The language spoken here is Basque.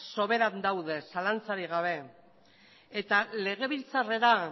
sobera daude zalantzarik gabe eta legebiltzarrera